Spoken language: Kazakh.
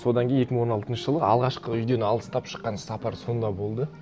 содан кейін екі мың он алтыншы жылы алғашқы үйден алыстап шыққан сапар сонда болды